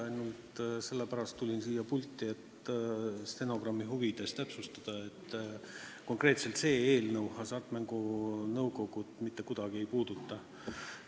Ma tulin sellepärast siia pulti, et stenogrammi huvides täpsustada: konkreetselt see eelnõu hasartmängumaksu nõukogu mitte kuidagi ei puuduta.